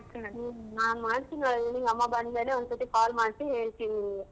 ಹ್ಮ ನಾನ್ ಮಾಡ್ತೀನಿ ಹೇಳಿ ಅಮ್ಮ ಬಂದ್ ಮೇಲೆ ಒಂದ್ ಸತಿ call ಮಾಡ್ಸಿ ಹೇಳ್ತೀನಿ ನಿಂಗೆ.